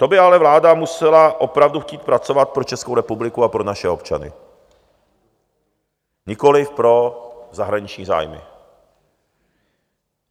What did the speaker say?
To by ale vláda musela opravdu chtít pracovat pro Českou republiku a pro naše občany, nikoliv pro zahraniční zájmy.